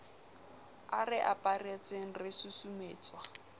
a re aparetseng re susumetswa